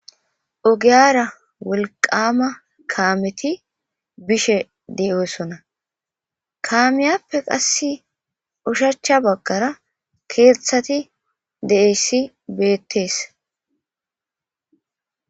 ogiyara wolqama kaameti bishe de7oosona kaamiyappe qass ushachcha baggara keeththati deessi beettees